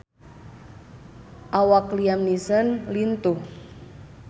Awak Liam Neeson lintuh